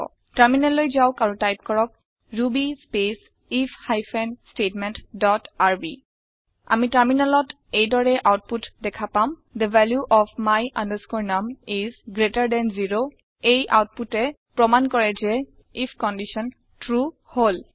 টাৰমিনেললৈ যাওক আৰু টাইপ কৰক Ruby space if hyphen statement dot R B আমি টাৰমিনেলত এই দৰে আওতপুত দেখা পাম the value of my num is greater than 0 এই আওতপুতে প্ৰমাণ কৰে যে আইএফ কণ্ডিশ্যন ট্ৰু হল